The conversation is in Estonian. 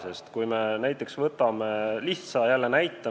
Võtame jälle lihtsa näite.